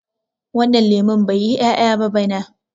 wannan lemon bai yi 'ya'ya ba bana